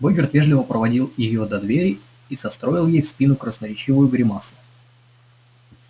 богерт вежливо проводил её до двери и состроил ей в спину красноречивую гримасу